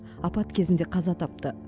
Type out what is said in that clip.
апат кезінде қаза тапты